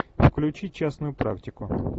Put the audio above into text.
включи частную практику